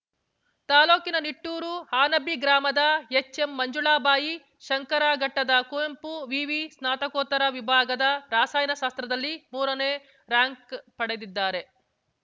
ತಾಲೂಕಿನ ನಿಟ್ಟೂರು ಹಾನಬ್ಬಿ ಗ್ರಾಮದ ಎಚ್‌ಎಮ್‌ಮಂಜುಳಾ ಬಾಯಿ ಶಂಕರಘಟ್ಟದ ಕುವೆಂಪು ವಿವಿ ಸ್ನಾತಕೋತ್ತರ ವಿಭಾಗದ ರಸಾಯನ ಶಾಸ್ತ್ರದಲ್ಲಿ ಮೂರನೇ ರಾರ‍ಯಂಕ್‌ ಪಡೆದಿದ್ದಾರೆ